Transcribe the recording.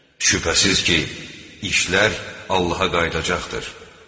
Şübhəsiz ki, işlər Allaha qayıdacaqdır.